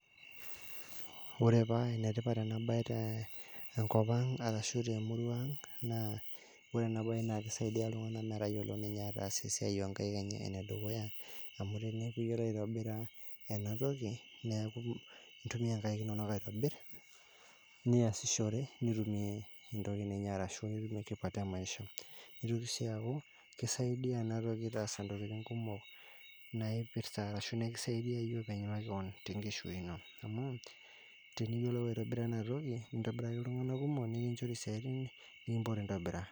ore paa ene tipat ena bae tenkop ang ashu temurua ang naa kisaidia iltunganka metayiolo ataas esiai oo nkaik enye, ene dukuya amu teneiu iyiolu aitobira ena toki neeku ,intumia inkai inonok aitobir, niasishore, nintumia entoki ninya amu niye tipat e maishanitoki siii aaku kisaidia ena toki taasa intokitin kumok, naaipirta ashu nikisaidia iyie te nkishui ino. amu teniyiolu aitobira ena toki, nintobiraki iltungan kumok nikincori isaitin.